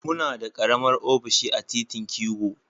Muna da karamar ofishi a titin kigo.